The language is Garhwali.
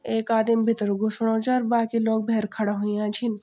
ऐक आदिम भितर घुसणु च अर बाकी लोग भैर खड़ा हुया छिन।